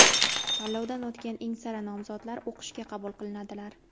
Tanlovdan o‘tgan eng sara nomzodlar o‘qishga qabul qilinadilar.